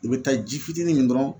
I bɛ taa ji fitinin min dɔrɔn